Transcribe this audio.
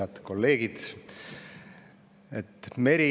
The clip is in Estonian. Head kolleegid!